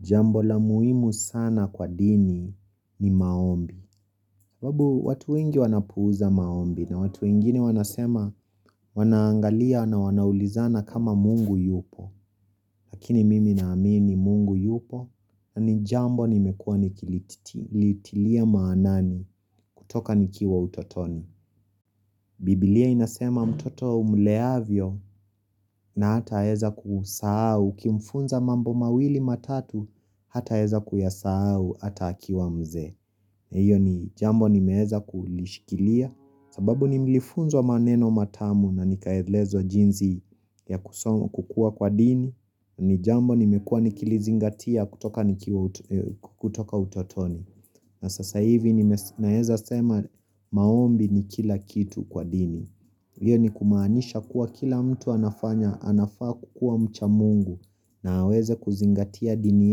Jambo la muhimu sana kwa dini ni maombi. Sababu watu wengi wanapuuza maombi na watu wengini wanasema wanaangalia na wanaulizana kama mungu yupo. Lakini mimi naamini mungu yupo na ni jambo nimekuwa nikilitilia maanani kutoka nikiwa utotoni. Biblia inasema mtoto umleavyo na hataeza kusahau ukimfunza mambo mawili matatu hataeza kuyasahau hata akiwa mzee. Iyo ni jambo nimeweza kulishikilia sababu ni nilifunzwa maneno matamu na nikaelezwa jinsi ya kukuwa kwa dini na ni jambo nimekuwa nikilizingatia kutoka utotoni na sasa hivi nime naweza sema maombi ni kila kitu kwa dini Iyo ni kumaanisha kuwa kila mtu anafanya anafaa kukua mcha mungu na aweze kuzingatia dini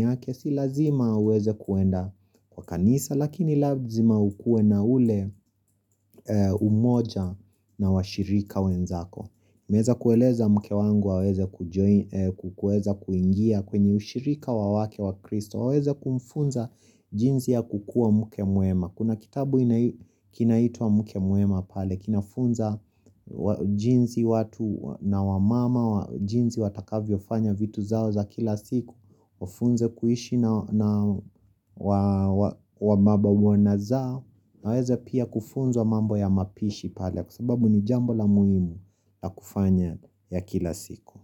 yake si lazima haweze kuenda kwa kanisa lakini lazima ukuwe na ule umoja na washirika wenzako Nimeweza kueleza mke wangu aweze ku kuweza kuingia kwenye ushirika wa wake wa kristo waweze kumfunza jinzi ya kukuwa mke mwema Kuna kitabu kinaitwa mke mwema pale kinafunza jinsi watu na wamama, jinsi watakavyofanya vitu zao za kila siku, wafunze kuishi na wababa wana zao, aweze pia kufunzwa mambo ya mapishi pale, kwa sababu ni jambo la muhimu la kufanya ya kila siku.